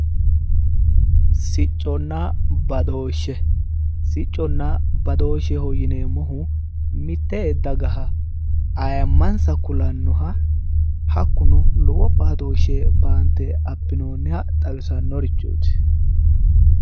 Sicconna badooshe, sicconna badoosheho yineemmohu mitte dagaha ayyinsa kulannoha hakkuno lowo baatooshshe baante abbinoonniha xawisannorichooti.